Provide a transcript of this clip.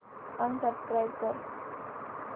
unsubscribe कर